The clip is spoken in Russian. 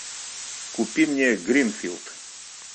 купи мне гринфилд